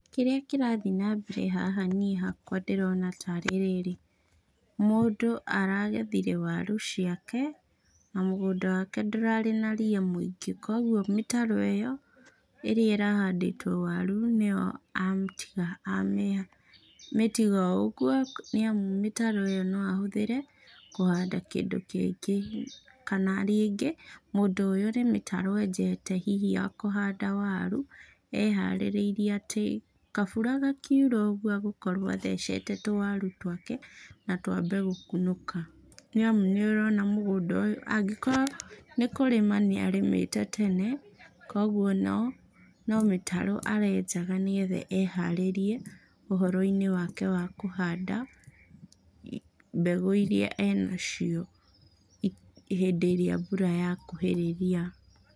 Kĩrĩa kĩrathiĩ nambere haha nĩi hakwa ndĩrona tarĩ rĩrĩ, mũndũ aragethire waru ciake, na mũgũnda wake ndũrarĩ na ria mũingĩ, koguo mĩtaro ĩyo, ĩrĩa ĩrahandĩtwo waru, nĩyo amĩtiga amĩtiga o ũguo, nĩamu mĩtaro ĩyo no ahũtĩre, kũhanda kĩndũ kĩngĩ, kana rĩngĩ mũndũ ũyũ nĩ mĩtaro enjete hihi ya kũhanda waru, e harĩrĩrie atĩ kabura gakiura ũguo, agũkorwo athecete tũwaru twake, na twambie gũkunũka, nĩamũ nĩorona mũgũnda ũyũ angĩkorwo nĩkũrĩma nĩarĩmĩte tene, koguo no, no mĩtaro arenjaga nĩgetha eharĩrie, ũhoroinĩ wake wa kũhanda, mbegũ iria enacio i hindĩ ĩra mbura yakuhĩrĩria.